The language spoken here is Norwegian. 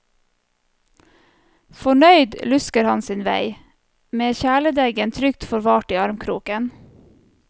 Fornøyd lusker han sin vei, med kjæledeggen trygt forvart i armkroken.